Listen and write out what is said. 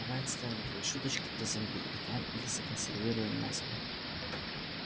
давай оставим твои шуточки для земли и там их законсервируем на зиму